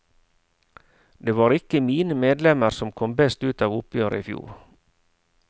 Det var ikke mine medlemmer som kom best ut av oppgjøret i fjor.